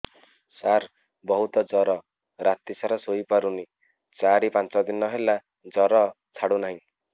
ସାର ବହୁତ ଜର ରାତି ସାରା ଶୋଇପାରୁନି ଚାରି ପାଞ୍ଚ ଦିନ ହେଲା ଜର ଛାଡ଼ୁ ନାହିଁ